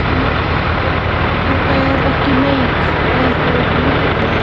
Ég meina, þetta er ekki meik eða eitthvað úr leikhúsinu?